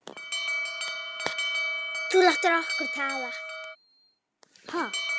En við verðum að velja og hafna.